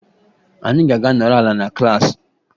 Anyị ga-aga nọrọ ala na klaasị